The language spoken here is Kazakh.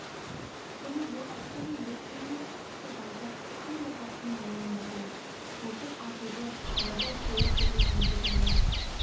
және бұл әскердің бес мыңы қысы-жазы хан ордасының маңында болады мылтық атуды найза сойыл пайдалануды жаяу